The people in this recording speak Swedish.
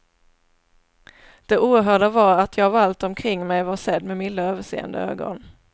Det oerhörda var att jag av allt omkring mig var sedd med milda överseende ögon.